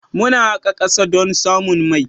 Muna haƙa ƙasa don samun mai.